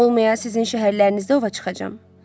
Olmaya sizin şəhərlərinizdə ova çıxacam?